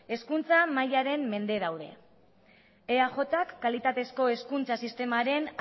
hezkuntza mailaren mende daude eajk kalitatezko hezkuntza sistemaren